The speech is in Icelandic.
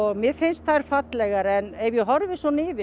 mér finnst þær fallegar ef ég horfi svona yfir